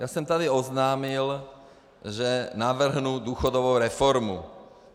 Já jsem tady oznámil, že navrhnu důchodovou reformu.